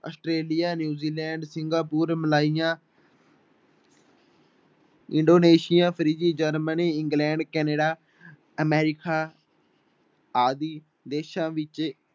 Australia, New Zealand, Singapore, Malaysia Indonesia Germany, England Canada America ਆਦਿ ਦੇਸ਼ਾਂ ਵਿੱਚ